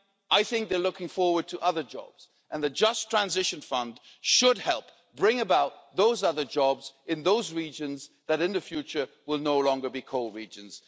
I think they're looking forward to other jobs and the Just Transition Fund should help bring about those other jobs in those regions that in the future will no longer be coal regions.